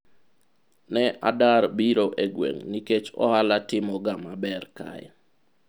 ne adar biro e gweng' ni nikech ohala timo ga maber kae